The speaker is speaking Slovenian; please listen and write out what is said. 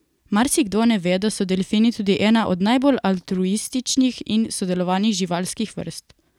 Marsikdo ne ve, da so delfini tudi ena od najbolj altruističnih in sodelovalnih živalskih vrst.